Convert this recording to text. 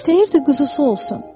İstəyirdi quzusu olsun.